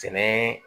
Sɛnɛ